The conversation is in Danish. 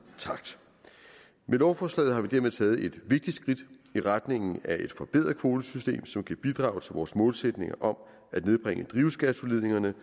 takt med lovforslaget har vi dermed taget et vigtigt skridt i retning af et forbedret kvotesystem som kan bidrage til vores målsætninger om at nedbringe drivhusgasudledningerne